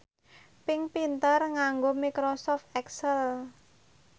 Pink pinter nganggo microsoft excel